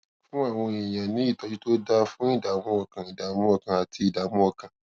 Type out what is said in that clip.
fún àwọn èèyàn ní ìtọjú tó dáa fún ìdààmú ọkàn ìdààmú ọkàn àti ìdààmú ọkàn